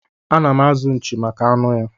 Anam azụ nchi maka anụ ya.